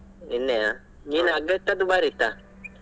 ನಿನ್ನೆಯ ಮೀನ್ ಅಗ್ಗ ಇತ್ತ ದುಬಾರಿ ಇತ್ತ?